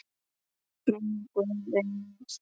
Megi Guð vera með þeim.